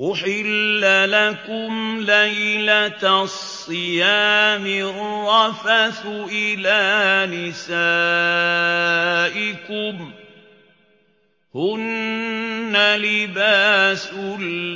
أُحِلَّ لَكُمْ لَيْلَةَ الصِّيَامِ الرَّفَثُ إِلَىٰ نِسَائِكُمْ ۚ هُنَّ لِبَاسٌ